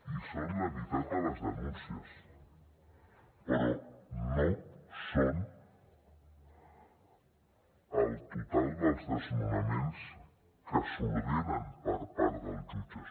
i són la meitat de les denuncies però no són el total dels desnonaments que s’ordenen per part dels jutges